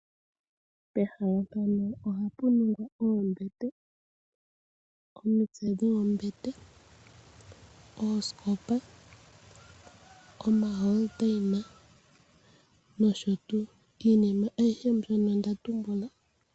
Pehala pano ohapuningwa Oombete, omitse dhombete, oosikopa oma holondaina, nosho tuu, Iinima ayihe mbyono ndatumbula.